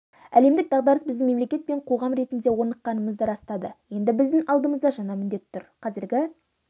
әлемдік дағдарыс біздің мемлекет пен қоғам ретінде орныққанымызды растады енді біздің алдымызда жаңа міндет тұр қазіргі